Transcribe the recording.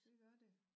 Det gør det